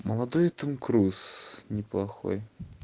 молодой том круз неплохой